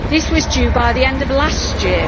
This was due by the end of last year.